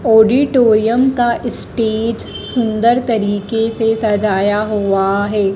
Auditorium का stage सुंदर तरीके से सजाया हुआ है।